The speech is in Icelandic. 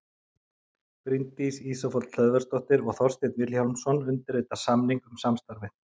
Bryndís Ísfold Hlöðversdóttir og Þorsteinn Vilhjálmsson undirrita samning um samstarfið.